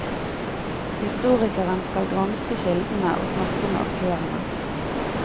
Historikeren skal granske kildene og snakke med aktørene.